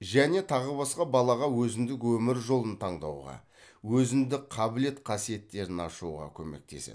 және тағы басқа балаға өзіндік өмір жолын таңдауға өзіндік қабілет қасиеттерін ашуға көмектеседі